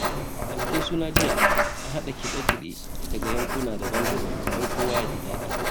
A bikin suna na jiya, an haɗa kiɗe-kiɗe daga yankuna daban-daban don kowa ya ji daɗi.